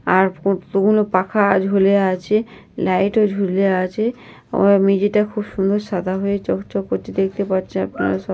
আর কতগুলো পাখা ঝুলে আছে। লাইট ও ঝুলে আছে। আর মেঝটা খুব সুন্দর সাদা হয়ে চকচক করছে দেখতে পারছেন আপনারা সব।